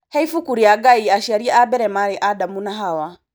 He ibuku rĩa Ngai aciari a mbere marĩ Adamu na Hawa